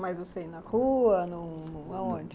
Mas, na rua, no no aonde?